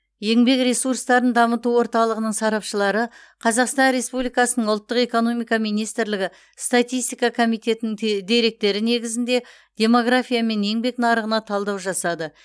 еңбек ресурстарын дамыту орталығының сарапшылары қазақсан республикасының ұлттық экономика министрлігі статистика комитетінің деректері негізінде демография мен еңбек нарығына талдау жасады